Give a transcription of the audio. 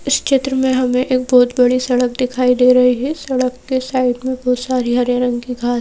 इस चित्र में हमें एक बहुत बड़ी सड़क दिखाई दे रही है सड़क के साइड में बहुत सारी हरे रंग की घास--